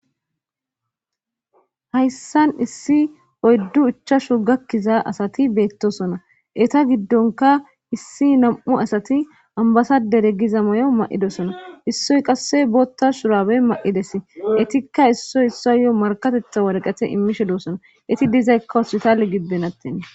hayssan issi oyddu ichashu gakkiza asati beettosona eta giddonka issi nam7u asati ambasadere giza may7o ma7idosona issoy qasse bootta shuraabey ma7ides etikka issoy issayo markatetha wareqete immishe duossona eti dizaykka wositale gibbenattina